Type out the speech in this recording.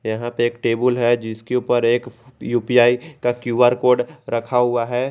यहां पे एक टेबुल है जिसके ऊपर एक यू_पी_आई का क्यू_आर कोड रखा हुआ है।